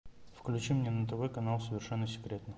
включи мне на тв канал совершенно секретно